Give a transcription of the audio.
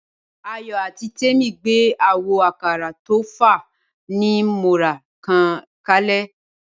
Ayọ̀ àti Temi gbé àwo àkàrà tó fa ni mọ́ra kan kalẹ̀.